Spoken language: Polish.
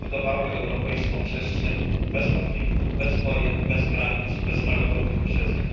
budowały europejską przestrzeń bez konfliktów, bez wojen, bez granic i bez narodowych uprzedzeń.